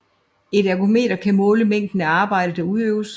Et ergometer kan måle mængden af arbejde der udøves